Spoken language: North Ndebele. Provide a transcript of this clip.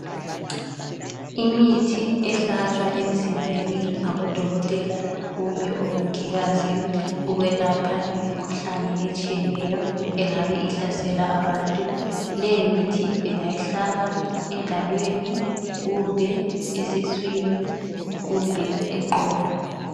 Imithi ehlatshwa emzimbeni ngabodokotela kumbe omongikazi ukwelapha imikhuhlane etshiyeneyo engabe ihlasela abantu. Le imithi ingahlatshwa engalweni kumbe esiswini kumbe eqolo.